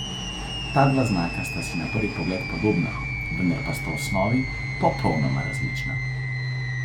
Ta dva znaka sta si na prvi pogled podobna, vendar pa sta v osnovi popolnoma različna.